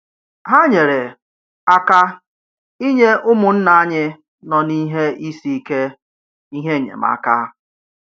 Ha nyere aka inye ụmụnna anyị nọ n’ihe isi ike ihe enyemaka.